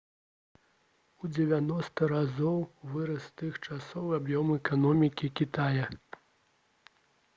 у 90 разоў вырас з тых часоў аб'ём эканомікі кітая